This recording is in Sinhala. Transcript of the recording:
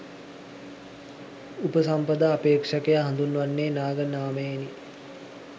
උපසම්පදාපේක්ෂකයා හඳුන්වන්නේ නාග නාමයෙනි.